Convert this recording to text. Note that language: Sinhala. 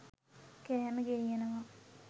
කෑම ගෙනියනවා.